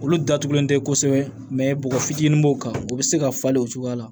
Olu datugulen tɛ kosɛbɛ bɔgɔ fitinin b'o kan o bɛ se ka falen o cogoya la